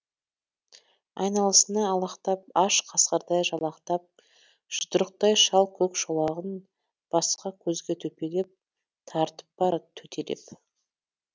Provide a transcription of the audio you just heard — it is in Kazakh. айналасына алақтап аш қасқырдай жалақтап жұдырықтай шал көк шолағын басқа көзге төпелеп тартып барад төтелеп